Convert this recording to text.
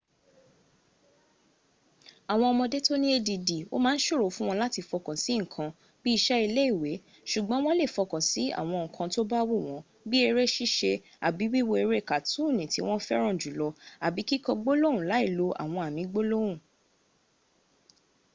awon omode to ni add o ma n soro fun won lati fokan si nkan bii ise ile iawe sugboon wo le fokan si awon nkan to ba wu won bii ere sise abi wiwo ere katooni ti won feran julo abi kiko gbolohun lai lo awon ami gbolohun